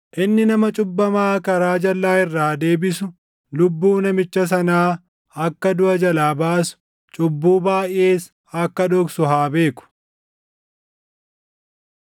inni nama cubbamaa karaa jalʼaa irraa deebisu lubbuu namicha sanaa akka duʼa jalaa baasu, cubbuu baayʼees akka dhoksu haa beeku.